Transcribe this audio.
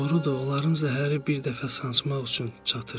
Doğrudur, onların zəhəri bir dəfə sancmaq üçün çatır.